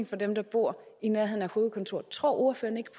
for dem der bor i nærheden af et hovedkontor tror ordføreren ikke